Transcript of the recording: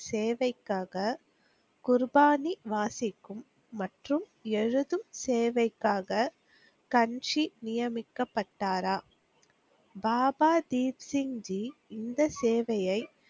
சேவைக்காக குருபானி வாசிக்கும் மற்றும் எழுதும் சேவைக்காக கன்ஷி நியமிக்கப்பட்டாரா? பாபா தீப்சிங் ஜி இந்த சேவையை